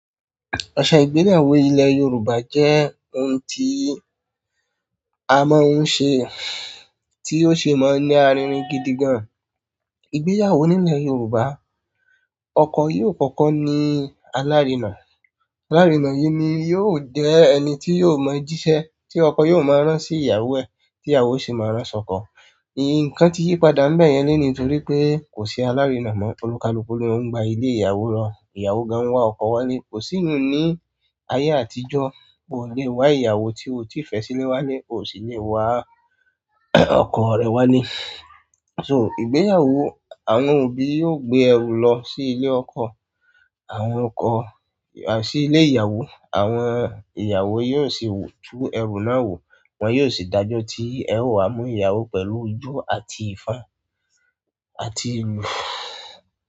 Ọṣẹ ìgbéyàwó ilẹ̀ Yorùbá jẹ́ ohun tí a máa ń ṣe, tí ó si máa ń ní aririn gidi gan. Ìgbéyàwó nílẹ̀ Yorùbá, ọkọ yóò kọ́kọ́ ní alárinà, alárinà yìí ni yóò jẹ ẹni tí yóò mọ jíṣẹ́, tí ọkọ yóò máa rán sí ìyàwó ẹ̀, tí ìyàwó sì máa rán sọ́kọ. Nkan ti yi padà ngbayẹn loni torí pe ko si alarina mọ. Onikaluku lo n gba ile ìyàwó lọ. Ìyàwó gan n wa ọkọ wale. Ko si iyẹn ni aye àtijọ́. Oo le wa ìyàwó ti oo ti fẹ sile wale, oo si le wa ọkọ rẹ wálé. So ìgbéyàwó, àwọn òbí yóò gbé ẹrù lọ sí ilé ọkọ, àwọn ọkọ à sí ilé ìyàwó, àwọn ìyàwó yóò sì tú ẹrú náà wò, wọn yóò sì dájọ́ tí ẹ o wa mú ìyàwó pẹ̀lú ijó àti ìfan àti ìlú.